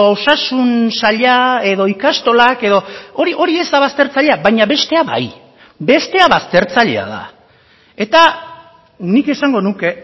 osasun saila edo ikastolak edo hori hori ez da baztertzailea baina bestea bai bestea baztertzailea da eta nik esango nuke